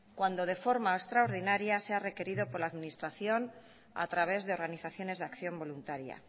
cuando de forma extraordinaria sea requerido por la administración a través de organizaciones de acción voluntaria